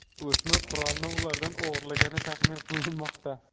O‘smir qurolni ulardan o‘g‘irlagani taxmin qilinmoqda.